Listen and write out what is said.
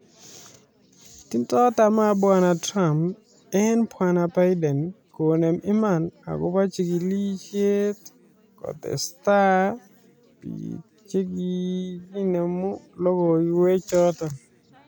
Tindo tamaa Bwana Trump en Bwana Biden konem iman akobo chikilishet kotesta bik chekinemu logoiywek choton